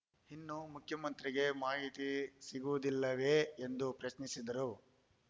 ಇನ್ನು ಮುಖ್ಯಮಂತ್ರಿಗೆ ಮಾಹಿತಿ ಸಿಗುವುದಿಲ್ಲವೇ ಎಂದು ಪ್ರಶ್ನಿಸಿದರು